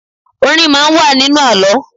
Orin máa ń wà nínú àlọ́